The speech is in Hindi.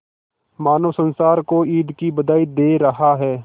मानो संसार को ईद की बधाई दे रहा है